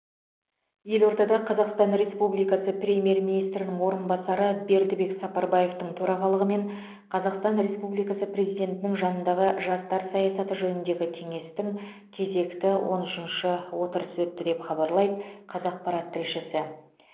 елордада қазақстан республикасы премьер министрінің орынбасары бердібек сапарбаевтың төрағалығымен қазақстан республикасы президентінің жанындағы жастар саясаты жөніндегі кеңестің кезекті он үшінші отырысы өтті деп хабарлайды қазақпарат тілшісі